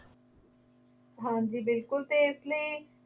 ਹਾਂਜੀ ਬਿਲਕੁੱਲ ਅਤੇ ਇਸ ਲਈ